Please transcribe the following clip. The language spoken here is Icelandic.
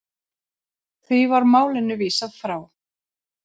Því var málinu vísað frá.